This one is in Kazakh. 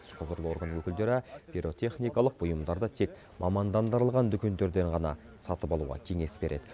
құзырлы орган өкілдері пиротехникалық бұйымдарды тек мамандандырылған дүкендерден ғана сатып алуға кеңес береді